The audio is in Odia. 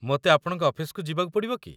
ମୋତେ ଆପଣଙ୍କ ଅଫିସକୁ ଯିବାକୁ ପଡ଼ିବ କି?